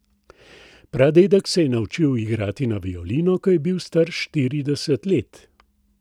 Pradedek se je naučil igrati na violino, ko je bil star štirideset let.